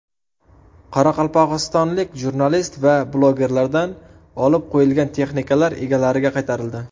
Qoraqalpog‘istonlik jurnalist va blogerlardan olib qo‘yilgan texnikalar egalariga qaytarildi.